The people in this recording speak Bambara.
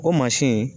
O mansin